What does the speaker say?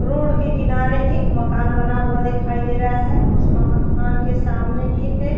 road के किनारे एक माकन बना हुआ दिखाई दे रहा है उस माकन के सामने एक है --